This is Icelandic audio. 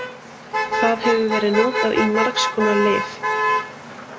Það hefur verið notað í margs konar lyf.